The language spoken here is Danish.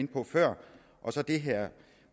inde på før og så det her